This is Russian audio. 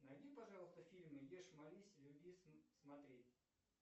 найди пожалуйста фильмы ешь молись люби смотреть